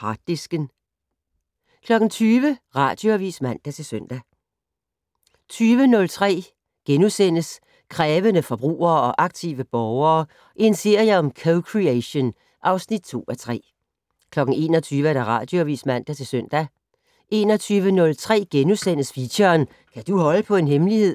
Harddisken * 20:00: Radioavis (man-søn) 20:03: Krævende forbrugere og aktive borgere - en serie om co-creation (2:3)* 21:00: Radioavis (man-søn) 21:03: Feature: Kan du holde på en hemmelighed? *